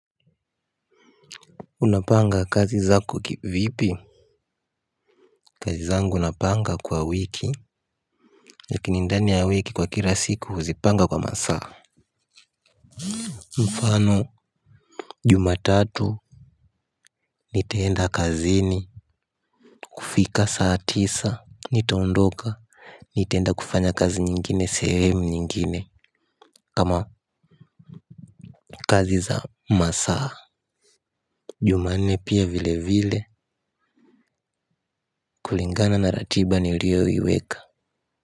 Unapanga kazi zako kivipi kazi zangu napanga kwa wiki lakini ndani ya wiki kwa kila siku huzipanga kwa masaa mfano. Jumatatu nitaenda kazini kufika saa tisa nitaondoka nitaenda kufanya kazi nyingine sehemu nyingine kama kazi za masaa jumanne pia vile vile kulingana na ratiba nilioiweka.